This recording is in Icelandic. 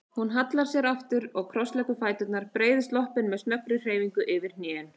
Hún hallar sér aftur og krossleggur fæturna, breiðir sloppinn með snöggri hreyfingu yfir hnén.